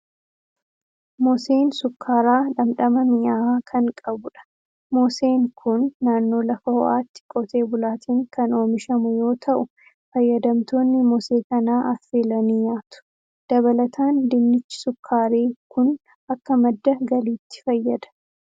Moseen sukkaaraa dhamdhama minyaa'aa kan qabudha. Moseen kun naannoo lafa ho'aatti qotee bulaatiin kan oomishamu yoo ta'u, fayyadamtoonni mosee kanaa affeelanii nyaatu. Dabalataan dinnichi shukkaaraa kun akka madda galiitti fayyada.